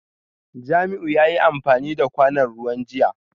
Jamiu yayi amfani da kwanon ruwan jiya